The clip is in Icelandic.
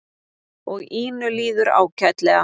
Og Ínu líður ágætlega.